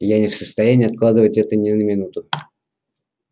я не в состоянии откладывать это ни на минуту